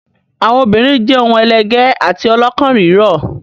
Àwọn obìnrin jẹ́ ohun ẹlẹgẹ́ àti ọlọ́kàn rírọ̀.